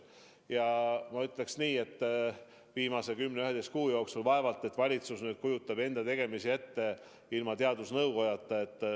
Ja ma ütleksin nii, et viimase kümne-üheteistkümne kuu jooksul pole valitsus kujutanud enda tegemisi ette ilma teadusnõukojata.